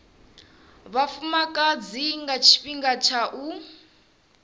vhafumakadzi nga tshifhinga tsha u